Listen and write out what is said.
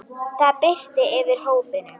Það birti yfir hópnum.